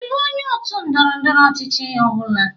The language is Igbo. Ị bụ onye otu ndọrọ ndọrọ ọchịchị ọ bụla?